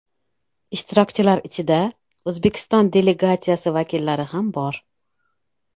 Ishtirokchilar ichida O‘zbekiston delegatsiyasi vakillari ham bor.